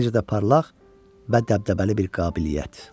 Necə də parlaq və dəbdəbəli bir qabiliyyət.